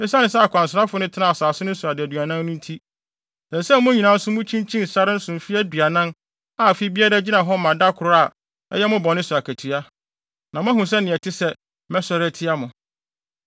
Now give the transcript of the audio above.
Esiane sɛ akwansrafo no tenaa asase no so adaduanan no nti, ɛsɛ sɛ mo nso mukyinkyin sare no so mfe aduanan a afe biara gyina hɔ ma da koro a ɛyɛ mo bɔne so akatua, na moahu sɛnea ɛte sɛ mɛsɔre atia mo.’